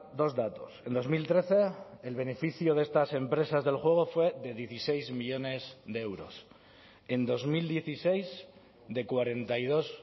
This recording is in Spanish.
dos datos en dos mil trece el beneficio de estas empresas del juego fue de dieciséis millónes de euros en dos mil dieciséis de cuarenta y dos